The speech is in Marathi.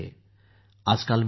आजकाल मी पाहतो